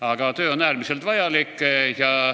Aga töö on äärmiselt vajalik.